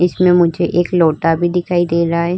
इसमें मुझे एक लोटा भी दिखाई दे रहा है।